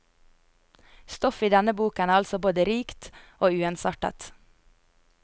Stoffet i denne boken er altså både rikt og uensartet.